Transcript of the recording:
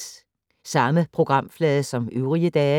Samme programflade som øvrige dage